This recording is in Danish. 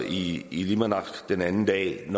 i llimanaq den anden dag